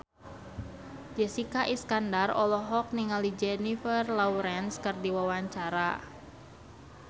Jessica Iskandar olohok ningali Jennifer Lawrence keur diwawancara